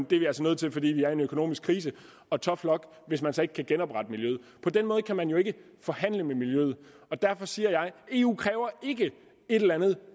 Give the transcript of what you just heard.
det er vi altså nødt til fordi vi er i en økonomisk krise og tough luck hvis man så ikke kan genoprette miljøet på den måde kan man jo ikke forhandle med miljøet og derfor siger jeg eu kræver ikke et eller andet